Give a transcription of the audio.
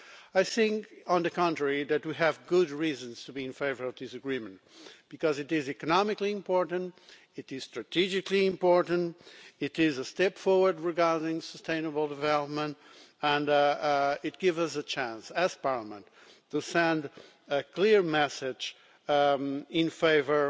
I think, on the contrary, that we have good reasons to be in favour of this agreement, because it is economically important, it is strategically important, it is a step forward regarding sustainable development, and it gives us a chance, as Parliament, to send a clear message in favour